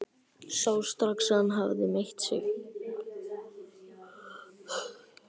Sá strax að hann hafði meitt sig.